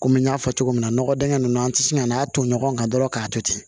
Komi n y'a fɔ cogo min na nɔgɔ dingɛ ninnu an tɛ sin ka n'a ton ɲɔgɔn kan dɔrɔn k'a to ten